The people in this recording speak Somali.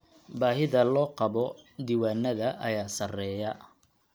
Baahida loo qabo diiwaannada ayaa sarreeya.